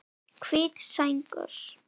Hvít sængur